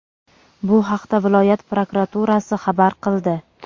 Bu haqda viloyat prokuraturasi xabar qildi.